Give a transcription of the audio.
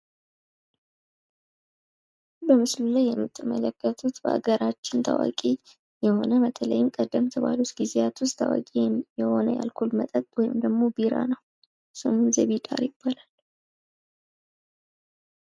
በምስሉ ላይ የምትመለከቱት በሃገራችን ታዋቂ የሆነ በተለይም ቀደምት በሆኑ ጊዜያት ውስጥ ታዋቂ የሆነ የአልኮል መጠጥ ወይም ቢራ ነው። ስሙም ዘቢደር ይባላል።